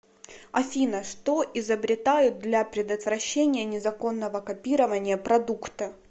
афина что изобретают для предотвращения незаконного копирования продукта